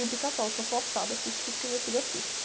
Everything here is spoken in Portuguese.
E o Pica-pau, sou forçada a assistir porque minha filha assiste.